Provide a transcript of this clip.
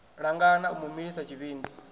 langana u mu milisa tshivhindi